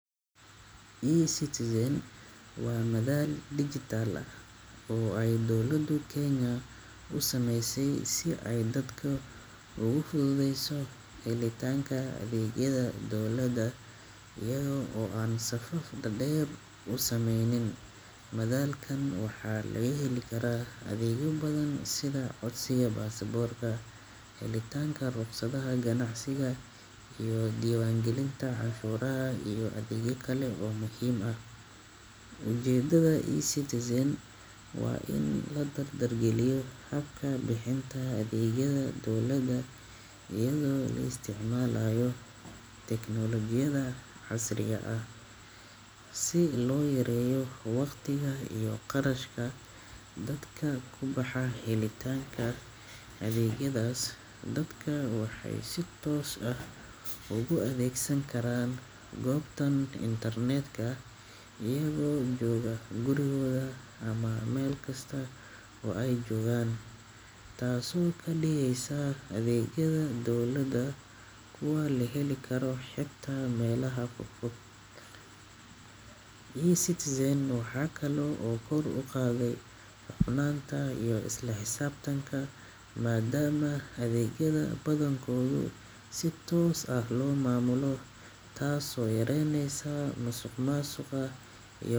eCitizen waa madal dijital ah oo ay dowladda Kenya u sameysay si ay dadka ugu fududeyso helitaanka adeegyada dowladda iyaga oo aan safaf dhaadheer samaynin. Madal-kan waxaa laga heli karaa adeegyo badan sida codsiga baasaboorka, helitaanka rukhsadaha ganacsiga, diiwaangelinta canshuuraha, iyo adeegyo kale oo muhiim ah. Ujeedada eCitizen waa in la dardar geliyo habka bixinta adeegyada dowladda iyadoo la isticmaalayo tiknoolajiyada casriga ah, si loo yareeyo waqtiga iyo kharashka dadka ku baxa helitaanka adeegyadaas. Dadku waxay si toos ah uga adeegsan karaan goobtan internetka iyaga oo jooga gurigooda ama meelkasta oo ay joogaan, taasoo ka dhigaysa adeegyada dowladda kuwo la heli karo xitaa meelaha fogfog. eCitizen waxay kaloo kor u qaadaa hufnaanta iyo isla xisaabtanka maadaama adeegyada badankood si toos ah loo maamulo, taasoo yaraynaysa musuqmaasuqa iyo.